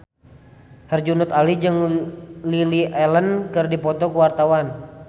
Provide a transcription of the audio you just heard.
Herjunot Ali jeung Lily Allen keur dipoto ku wartawan